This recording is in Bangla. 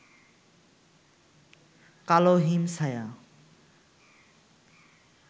কালো হিমছায়া